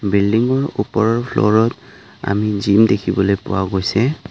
বিল্ডিংৰ ওপৰৰ ফ্ল'ৰত আমি জিম দেখিবলৈ পোৱা গৈছে।